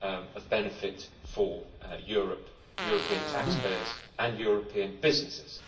of benefit for Europe, European taxpayers and European businesses.